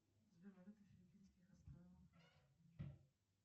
здравствуйте хочу поменять пин код это возможно